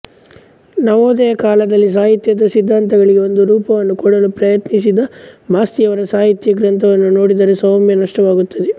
ನವೋದಯ ಕಾಲದಲ್ಲಿ ಸಾಹಿತ್ಯದ ಸಿದ್ಧಾಂತಗಳಿಗೆ ಒಂದು ರೂಪವನ್ನು ಕೊಡಲು ಪ್ರಯತ್ನಿಸಿದ ಮಾಸ್ತಿಯವರ ಸಾಹಿತ್ಯ ಗ್ರಂಥವನ್ನು ನೋಡಿದರೆ ಸಾಮ್ಯ ಸ್ಪಷ್ಟವಾಗುತ್ತದೆ